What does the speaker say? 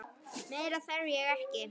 Meira þarf ég ekki.